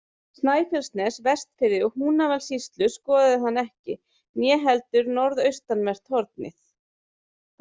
Snæfellsnes, Vestfirði og Húnavatnssýslu skoðaði hann ekki, né heldur NA-hornið.